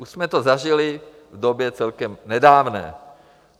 Už jsme to zažili v době celkem nedávné.